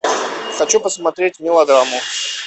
хочу посмотреть мелодраму